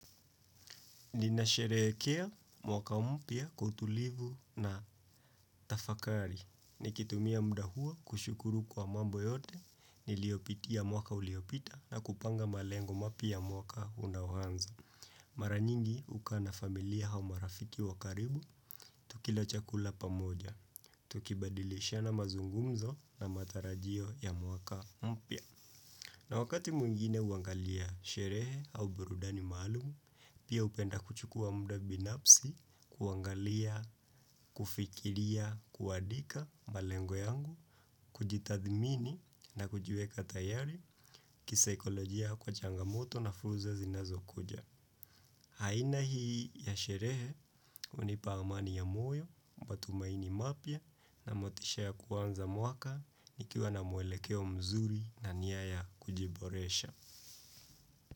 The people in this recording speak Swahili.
Ninasherehekea mwaka mpya kwa utulivu na tafakari. Nikitumia muda huo kushukuru kwa mambo yote niliyopitia mwaka uliopita na kupanga malengo mapya ya mwaka unaoanza. Mara nyingi hukaa na familia au marafiki wa karibu, tukila chakula pamoja. Tukibadilishana mazungumzo na matarajio ya mwaka mpya. Na wakati mwingine huangalia sherehe au burudani maalumu, pia hupenda kuchukua muda binafsi, kuangalia, kufikiria, kuandika, malengo yangu, kujitathmini na kujiweka tayari, kisaikolojia kwa changamoto na fursa zinazokuja. Aina hii ya sherehe, hunipa amani ya moyo, matumaini mapya na motisha ya kuanza mwaka, nikiwa na mwelekeo mzuri na nia ya kujiboresha.